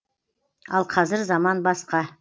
ал қазір заман басқа